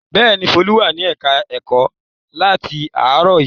Bẹ́ẹ̀ ni, Folú wà ní ẹ̀ka-ẹ̀kọ́ áátì láàárọ̀ yìí.